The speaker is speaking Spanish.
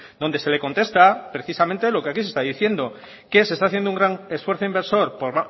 donde se le contesta precisamente lo que aquí se está diciendo que se está haciendo un gran esfuerzo inversor por